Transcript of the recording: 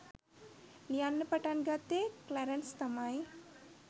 ලියන්න පටන් ගත්තෙ ක්ලැරන්ස් තමයි